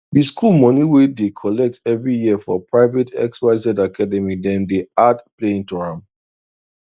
the school money wey dey collect every year for private xyz academydem dey add playing to am